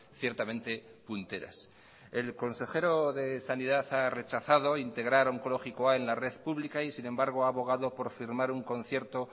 ciertamente punteras el consejero de sanidad ha rechazado integrar onkologikoa en la red pública y sin embargo ha abogado por firmar un concierto